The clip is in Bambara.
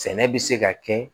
Sɛnɛ bɛ se ka kɛ